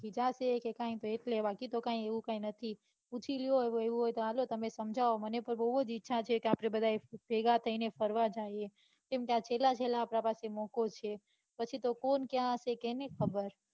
કે કૈંક એવું તો કાંઈ નહિ પૂછી લો એવું હોય તો હાલો તમે સમજાવો મને પણ બૌ જ ઈચ્છા છે કે આપડે બધા ભેગા થઇ ને ફરવા જઇયે કેમ કે આ છેલ્લા છેલ્લા પ્રવાસ નો મોકો છે પછી તો કોણ ક્યાં હશે કોને ખબર.